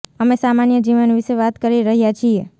અમે સામાન્ય જીવન વિષે વાત કરી રહ્યા છીએ